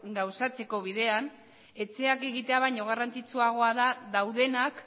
gauzatzeko bidean etxeak egitea baino garrantzitsuagoa da daudenak